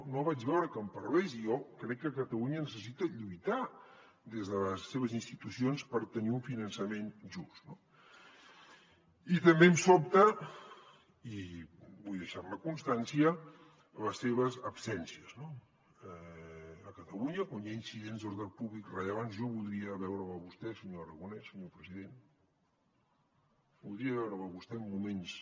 no vaig veure que en parlés i jo crec que catalunya necessita lluitar des de les seves institucions per tenir un finançament just no i també em sobten i vull deixar ne constància les seves absències no a catalunya quan hi ha incidents d’ordre públic rellevants jo voldria veure’l a vostè senyor aragonès senyor president voldria veure’l a vostè en moments